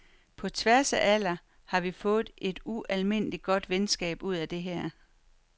På tværs af alder, har vi fået et ualmindeligt godt venskab ud af det her.